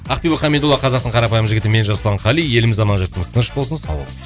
ақбибі қамидолла қазақтың қарапайым жігіті мен жасұлан қали еліміз аман жұртымыз тыныш болсын сау болыңыз